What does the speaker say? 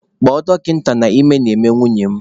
Kpọọ dọkịta na ime na-eme nwunye m!